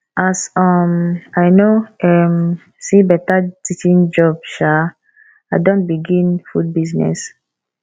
as um i no um see beta teaching job um i don begin food business